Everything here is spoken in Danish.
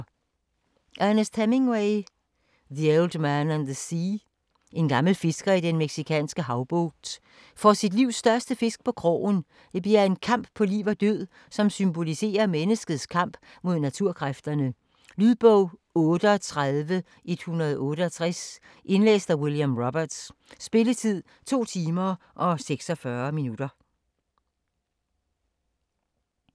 Hemingway, Ernest: The old man and the sea En gammel fisker i den mexikanske havbugt får sit livs største fisk på krogen. Det bliver en kamp på liv og død, som symboliserer menneskets kamp mod naturkræfterne. Lydbog 38168 Indlæst af William Roberts Spilletid: 2 timer, 26 minutter.